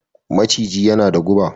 Maciji yana da guɓa